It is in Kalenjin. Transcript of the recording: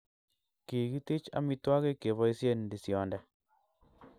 Kikitich amitwogik keboisien ndisionde.